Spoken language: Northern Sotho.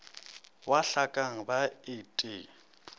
wa hlakeng ba et e